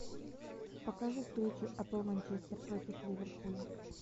покажи встречу апл манчестер против ливерпуля